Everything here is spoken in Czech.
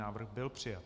Návrh byl přijat.